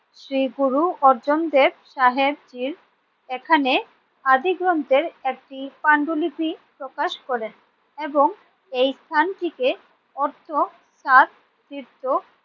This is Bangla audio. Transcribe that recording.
শ্রীগুরু অর্জুন দেব সাহেবজির এখানে আদিগ্রন্থের একটি পাণ্ডলিপি প্রকাশ করেন এবং এই স্থানটিকে অর্থ সাত তীর্থ